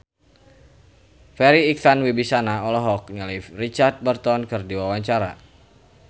Farri Icksan Wibisana olohok ningali Richard Burton keur diwawancara